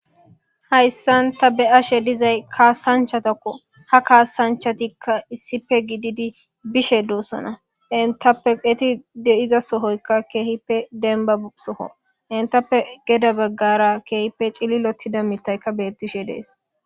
Hayssanta be ashe dizay kaasanchatakko ha kaasanchatikka issipe gididi bishe duossona intappeeti deiza sohoykka keehippe denba soho intappe geda beggara keehippe cililotida mittaykka bettishe dees.